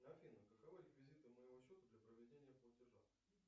афина каковы реквизиты моего счета для проведения платежа